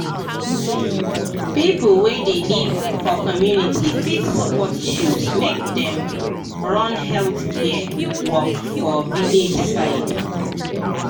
people wey dey live for community fit support chws make dem run health care work for village side.